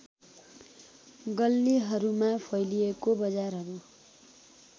गल्लीहरूमा फैलिएको बजारहरू